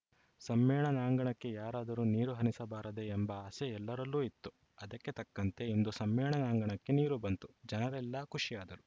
ಸಮ್ಮೇಳನಾಂಗಣಕ್ಕೆ ಯಾರಾದರೂ ನೀರು ಹನಿಸಬಾರದೇ ಎಂಬ ಆಸೆ ಎಲ್ಲರಲ್ಲೂ ಇತ್ತು ಅದಕ್ಕೆ ತಕ್ಕಂತೆ ಇಂದು ಸಮ್ಮೇಳನಾಂಗಣಕ್ಕೆ ನೀರು ಬಂತು ಜನರೆಲ್ಲಾ ಖುಷಿಯಾದರು